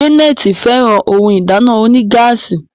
Janet féràn òún ìdáná onígáàsì.